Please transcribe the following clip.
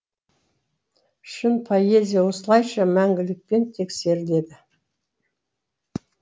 шын поэзия осылайша мәңгілікпен тексеріледі